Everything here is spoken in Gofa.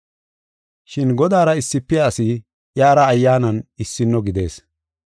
Shin Godaara issifiya asi iyara ayyaanan issino gidees.